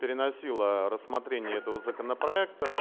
переносила рассмотрение этого законопроекта